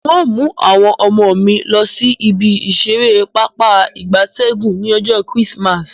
N o mu awon omo mi losi ibi isere papa igabtegun ni ojo Chrismas